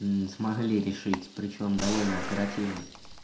мм смогли решить причём довольно оперативно